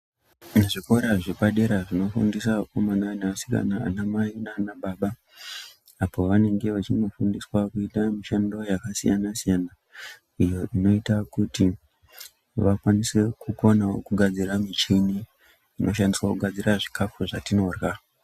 Muzvikora zvepadera zvinofundisa akomana neasikana, ana mai nana baba apo vanenge vachinofundiswa kuita mishando yakasiyana-siyana iyo inoita kuti vakwanise kukona kugadzira michini inoshandiswa kugadzira zvikafu zvatinorya.